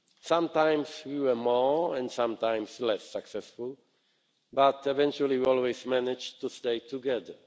Sometimes we were more and sometimes less successful, but eventually we always managed to stay together.